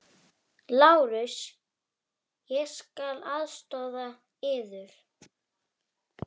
LÁRUS: Ég skal aðstoða yður.